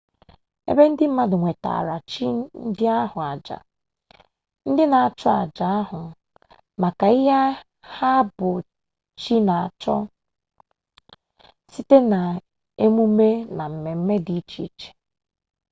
ebe ndị mmadụ wetaara chi ndị ahụ aja ndị nchụ aja ahụ maka ihe ha bụ chi na-achọ site n'emume na mmemme di iche iche